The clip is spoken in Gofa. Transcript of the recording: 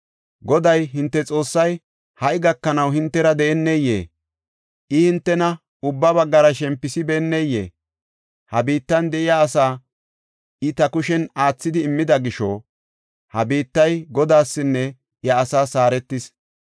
“Goday, hinte Xoossay ha77i gakanaw hintera de7eneyee? I hintena ubba baggara shempisibenneyee? Ha biittan de7iya asaa I ta kushen aathidi immida gisho ha biittay Godaasinne iya asaas haaretis.